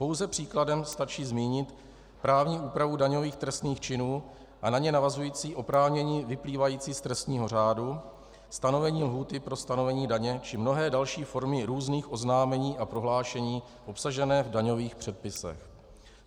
Pouze příkladem stačí zmínit právní úpravu daňových trestných činů a na ně navazující oprávnění vyplývající z trestního řádu, stanovení lhůty pro stanovení daně či mnohé další formy různých oznámení a prohlášení obsažené v daňových předpisech.